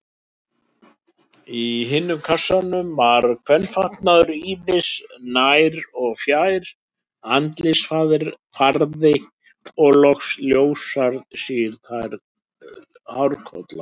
Í hinum kassanum var kvenfatnaður ýmis, nær- og fjær-, andlitsfarði og loks ljóshærð, síðhærð hárkolla.